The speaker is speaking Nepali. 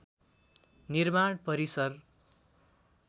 निर्माण परिसर